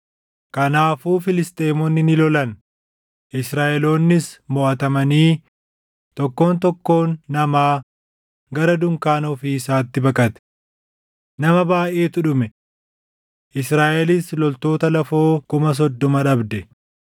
Kanaafuu Filisxeemonni ni lolan; Israaʼeloonnis moʼatamanii tokkoon tokkoon namaa gara dunkaana ofii isaatti baqate. Nama baayʼeetu dhume; Israaʼelis loltoota lafoo kuma soddoma dhabde.